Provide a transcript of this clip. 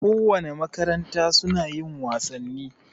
Ko wane makaranta suna yin wasanni